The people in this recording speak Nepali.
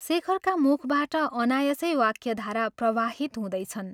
शेखरका मुखबाट अनायसै वाक्यधारा प्रवाहित हुँदैछन्।